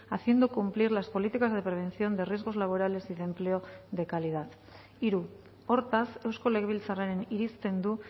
haciendo cumplir las políticas de prevención de riesgos laborales y de empleo de calidad hiru hortaz eusko legebiltzarraren irizten du